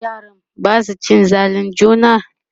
yaran Basu cin zalin juna?